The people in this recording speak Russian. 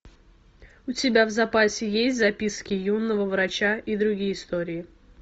у тебя в запасе есть записки юного врача и другие истории